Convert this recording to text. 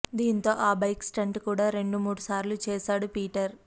దీంతో ఆ bike stunt కూడా రెండు మూడు సార్లు చేశాడు పీటర్